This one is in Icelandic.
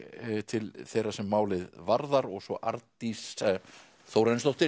til þeirra sem málið varðar og svo Arndís Þórarinsdóttir